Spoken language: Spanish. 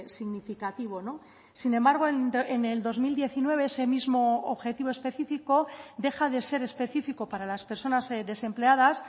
significativo sin embargo en el dos mil diecinueve ese mismo objetivo específico deja de ser específico para las personas desempleadas